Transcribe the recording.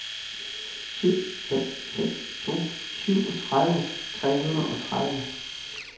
syv fem fem to syvogtredive tre hundrede og tredive